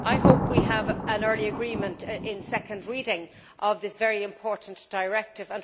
I hope we can have an early agreement at second reading on this very important directive.